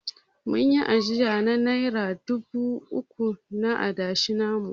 Mun yi ajiya na nera dubu uku na adashi namu.